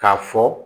K'a fɔ